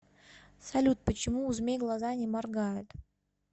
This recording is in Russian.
салют почему у змей глаза не моргают